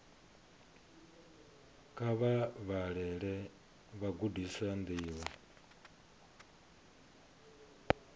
kha vha vhalele vhagudiswa ndivho